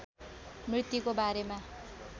मृत्युको बारेमा